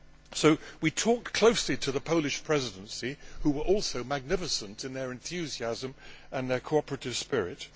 So we talked closely to the Polish Presidency, who were also magnificent in their enthusiasm and cooperative spirit.